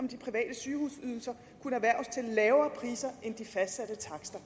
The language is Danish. de private sygehusydelser kunne erhverves til lavere priser end de fastsatte takster